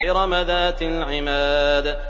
إِرَمَ ذَاتِ الْعِمَادِ